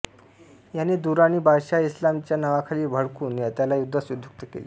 याने दुराणी बाद्शहास इस्लाम च्या नावाखाली भडकवून त्याला युद्धास उद्युक्त केले